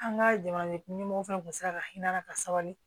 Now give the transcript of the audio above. An ka jamana ɲɛmɔgɔ fana tun sera ka hinɛ ka sabali